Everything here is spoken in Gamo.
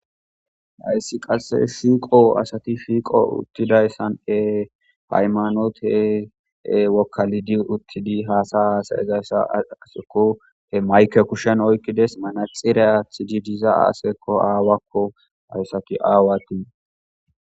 Hayssi qasse siiqo asati fiiqo uttidayssan e paymanootee wokkalidi uttidi haasa haasayezayssa seko he mayke kushen oykkides manaxira athidi diza aaseekko aawakko ayssati aawati.